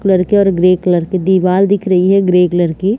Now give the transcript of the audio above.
colour के और grey colour के दीवाल दिख रही है ग्रे कलर की--